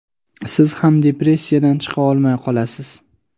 siz ham depressiyadan chiqa olmay qolasiz.